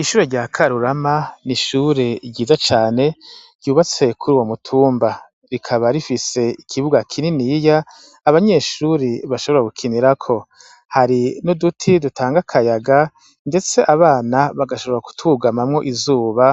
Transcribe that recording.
ishure rya Karurama, n'ishure ryiza cane ryubatse kuru wo mutumba, rikaba rifise ikibuga kinini iya Abanyeshuri bashobora gukinira ko, hari nuduti dutanga akayaga ndetse abana bagashobora kutugamamwo izuba